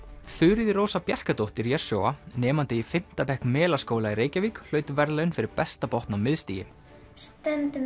Þuríður Rósa Bjarkadóttir nemandi í fimmta bekk Melaskóla í Reykjavík hlaut verðlaun fyrir besta botn á miðstigi stöndum